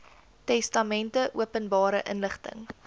testamente openbare inligting